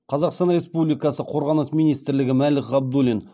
қазақстан республикасы қорғаныс министрлігі мәлік ғабдуллин